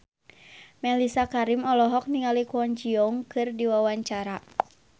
Mellisa Karim olohok ningali Kwon Ji Yong keur diwawancara